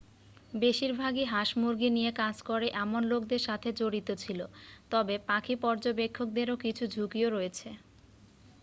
বেশিরভাগই হাঁস-মুরগী নিয়ে কাজ করে এমন লোকদের সাথে জড়িত ছিল তবে পাখি পর্যবেক্ষকদেরও কিছু ঝুঁকিও রয়েছে